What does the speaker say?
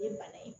Ye bana ye